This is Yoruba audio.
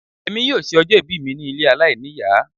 Èmi yóò ṣe ọjọ́ ìbí mi ní ilé aláìníìyá.